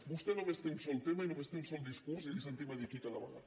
vostè només té un sol tema i només té un sol discurs i li sentim a dir aquí cada vegada